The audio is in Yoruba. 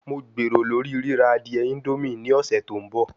Mo gbero lori rira adie indomie ni ọsẹ to nbọ